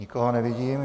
Nikoho nevidím.